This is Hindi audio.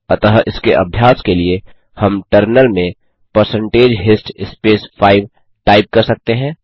अतः इसके अभ्यास के लिए हम टर्मिनल में परसेंटेज हिस्ट स्पेस 5 टाइप कर सकते हैं